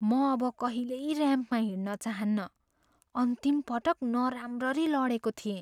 म अब कहिल्यै ऱ्याम्पमा हिँड्न चाहन्नँ। अन्तिम पटक नराम्ररी लडेको थिएँ।